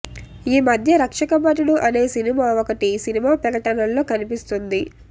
ఈ మధ్య రక్షకభటుడు అనే సినిమా ఒకటి సినిమా ప్రకటనల్లో కనిపిస్తోంది